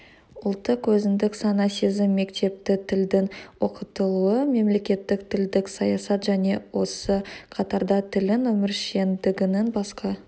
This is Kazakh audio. ұлттық өзіндік сана-сезім мектепті тілдің оқытылуы мемлекеттік тілдік саясат және осы қатарда тілдің өміршеңдігінің басқа